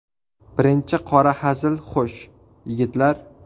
Birinchi qora hazil Xo‘sh, yigitlar.